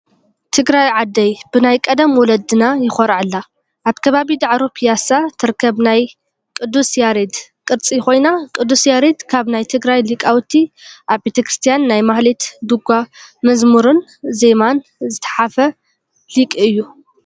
ትግራይ ዓደይ ብናይ ቀደም ወለድና የኮርዐላ! ኣብ ከባቢ ዳዕሮ ቢያሳ ትርከብ ይ ቅዱስ ያሬድ ቅርፂ ኮይና ቅዱስ ያሬድ ካብ ናይ ትግራይ ሊቃውቲ ኣብ ቤተክርስያን ናይ ማህሌት፣ ዱጋ፣ ሙዝሙርን ዜማን ዝተሓፈ ሊቅ እዩ።